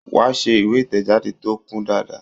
Wà ṣe ìwé ìtẹ̀jáde tó kún dáadáa.